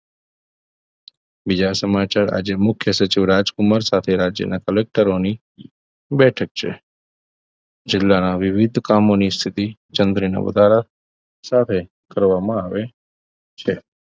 બીજા સમાચાર આજે મુખ્ય સચોટ રાજકુમાર સાથે રાજ્યના કલેકટરો ની બેઠક છે જિલ્લાના વિવિધ કામોની સ્થિતિ જંત્રીના વધારા સાથે કરવામાં આવે છે